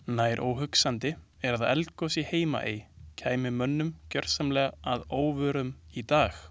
Nær óhugsandi er að eldgos í Heimaey kæmi mönnum gjörsamlega að óvörum í dag.